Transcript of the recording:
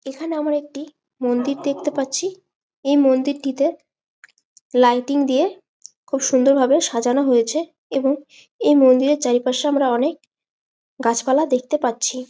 এখানে আমরা একটি মন্দির দেখতে পাচ্ছি। এই মন্দির টি তে লাইটিং দিয়ে খুব সুন্দর ভাবে সাজানো হয়েছে। এবং এই মন্দির এর চারিপাশে আমরা অনেক গাছপালা দেখতে পাচ্ছি।